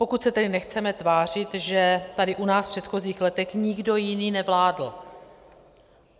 Pokud se tedy nechceme tvářit, že tady u nás v předchozích letech nikdo jiný nevládl.